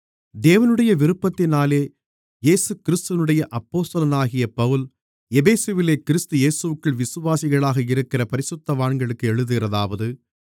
தேவனுடைய விருப்பத்தினாலே இயேசுகிறிஸ்துவினுடைய அப்போஸ்தலனாகிய பவுல் எபேசுவிலே கிறிஸ்து இயேசுவிற்குள் விசுவாசிகளாக இருக்கிற பரிசுத்தவான்களுக்கு எழுதுகிறதாவது